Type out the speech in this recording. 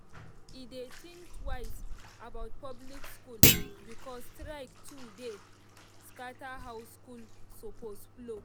e dey think twice about public school because strike too dey scatter how school supposed flow.